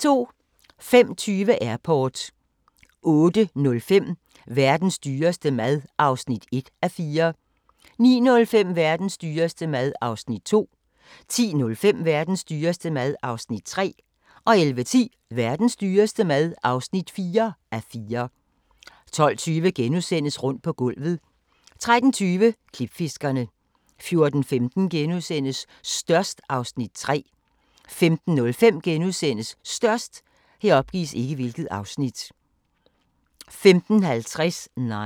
05:20: Airport 08:05: Verdens dyreste mad (1:4) 09:05: Verdens dyreste mad (2:4) 10:05: Verdens dyreste mad (3:4) 11:10: Verdens dyreste mad (4:4) 12:20: Rundt på gulvet * 13:20: Klipfiskerne 14:15: Størst (Afs. 3)* 15:05: Størst * 15:50: Nine